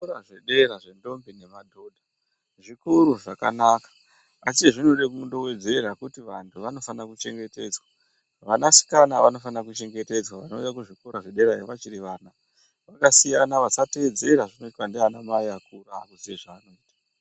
Zvikora zvedera zvendombi nemadhodha zvikora zvakanaka asi zvinode kundowedzera kuti vantu vanofanire kuchengetedzwa. Vanasikana vanofanire kuchengetedzwa vanouye kuzvikora zvederayo vachiri vana. Vakasiyana vasateedzera zvinoitwa ndianamai vakuru ava.